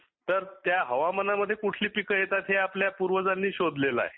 तर त्या हवामानामध्ये कुढली पिके येतात हे आपल्या पुर्वजांनी शोधलेल आहे